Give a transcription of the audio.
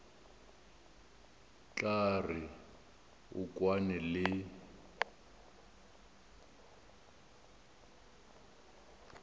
tla re o kwane le